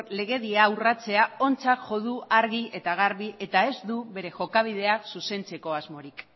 legedia urratzea ontzat jo du argi eta garbi eta ez du bere jokabidea zuzentzeko asmorik